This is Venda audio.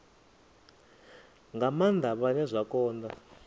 nga maanda vhane zwa konda